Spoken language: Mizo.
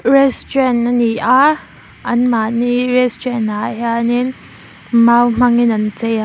restaurant ani a anmahni restaurant ah hianin mau hmangin an chei a.